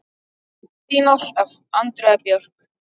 Þín alltaf, Andrea Björk.